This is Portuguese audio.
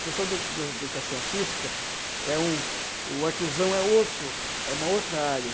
O professor de de educação artística é um... o artesão é outro, é uma outra área.